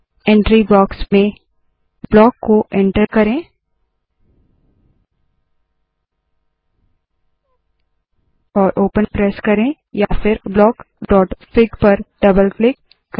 entry box में block को enter करे और ओपन प्रेस करे या फिर blockफिग पर डबल क्लिक करे